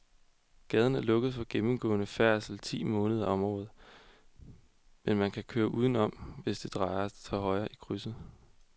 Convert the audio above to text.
Gaden er lukket for gennemgående færdsel ti måneder om året, men man kan køre udenom, hvis man drejer til højre i krydset.